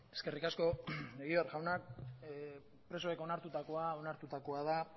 eskerrik asko egibar jauna presoek onartutakoa onartutakoa da